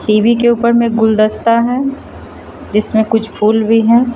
TV के ऊपर में गुलदस्ता है जिसमें कुछ फूल भी हैं।